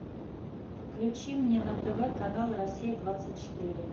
включи мне на тв канал россия двадцать четыре